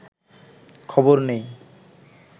খবর নেই